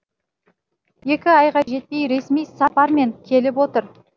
екі айға жетпей ресми сапармен келіп отыр